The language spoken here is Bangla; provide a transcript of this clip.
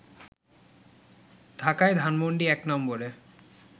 ঢাকায় ধানমণ্ডি ১ নম্বরে